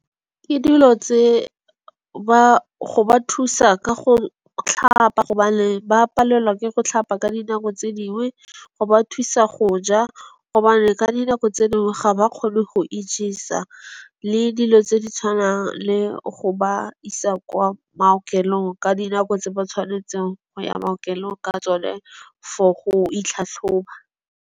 Ke dilo tse ba go ba thusa ka go tlhapa gobane ba palelwa ke go tlhapa ka dinako tse dingwe. Go ba thusa go ja gobane ka dinako tse dingwe ga ba kgone go ijesa le dilo tse di tshwanang le go ba isa kwa maokelong, ka dinako tse ba tshwanetseng go ya maokelong ka tsone for go itlhatlhoba.